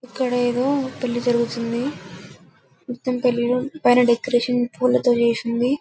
ఇక్కడ ఏదో పెళ్లి జరుగుతుంది మొత్తం పెళ్లిలో డెకరేషన్ పూలతో చేసింది --